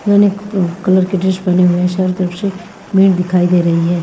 यानी कलर के ड्रेस बने हुए हैं चारों तरफ से मण दिखाई दे रही है।